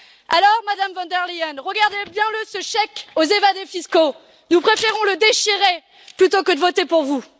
Alors, Madame von der Leyen, regardez le bien, ce chèque aux évadés fiscaux, nous préférons le déchirer plutôt que de voter pour vous.